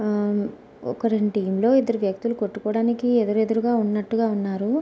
ఆ ఒక రెండు టీం లో ఇద్దరు వ్యక్తులు కొట్టుకోడానికి ఎదురెదురుగా ఉన్నట్టుగా ఉన్నారు.